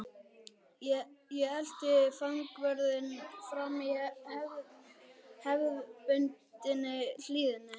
Ég elti fangavörðinn fram í hefðbundinni hlýðni.